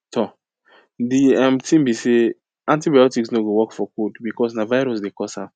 um di um tin be say antibiotics no go work for cold because na virus dey cause am